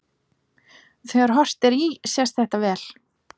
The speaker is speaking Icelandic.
þegar horft er í sést þetta vel